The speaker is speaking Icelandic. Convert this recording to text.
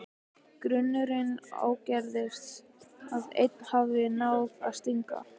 Grunurinn ágerist að ein hafi náð að stinga.